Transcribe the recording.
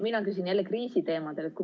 Mina küsin jälle kriisiteemadel.